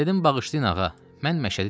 Dedim bağışlayın ağa, mən məşədi deyiləm.